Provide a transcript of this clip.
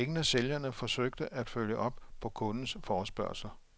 Ingen af sælgerne forsøgte at følge op på kundens forespørgsler.